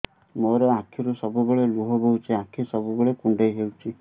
ମୋର ଆଖିରୁ ସବୁବେଳେ ଲୁହ ବୋହୁଛି ଆଖି ସବୁବେଳେ କୁଣ୍ଡେଇ ହଉଚି